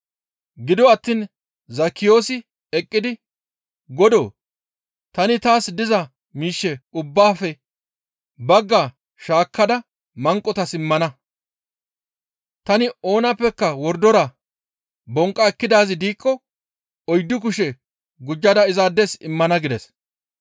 Gido attiin Zekkiyoosi eqqidi, «Godoo! Tani taas diza miishshe ubbaafe bagga shaakkada manqotas immana; tani oonappeka wordora bonqqa ekkidaazi diikko oyddu kushe gujjada izaades immana» gides.